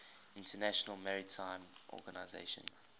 international maritime organization